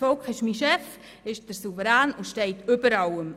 Das Volk ist mein Chef, es ist der Souverän und steht über allem.